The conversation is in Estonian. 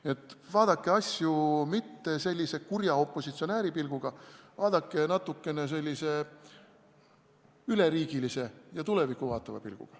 Nii et ärge vaadake asju sellise kurja opositsionääri pilguga, vaadake neid natukene üleriigilise ja tulevikku suunatud pilguga.